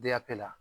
la